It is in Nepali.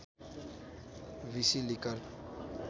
बिसि लिकर